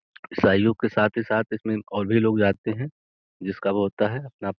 ईसाईयों के साथ ही साथ इसमें और भी लोग जाते हैं जिसका वो होता है अपना --